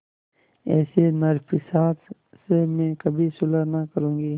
ऐसे नरपिशाच से मैं कभी सुलह न करुँगी